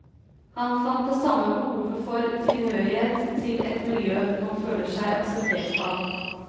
Han fant det samme behovet for tilhørighet til et miljø man føler seg akseptert av.